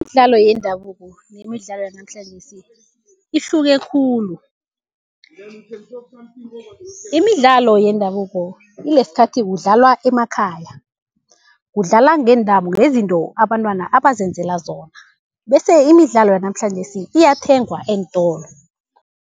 Imidlalo yendabuko nemidlalo yanamhlanjesi ihluke khulu. Imidlalo yendabuko ilesikhathi kudlalwa emakhaya, kudlalwa ngeentambo, ngezinto abantwana abazenzela zona. Bese imidlalo yanamhlanjesi iyathengwa eentolo.